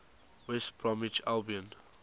west bromwich albion